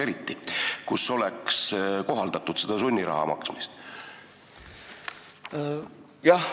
Ega sa ei tea, kas on mõni pretsedent, et seal oleks kohaldatud sunniraha maksmist?